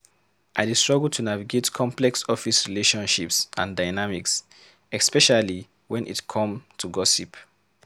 I dey struggle to navigate complex office relationships and dynamics, especially when it come to gossip.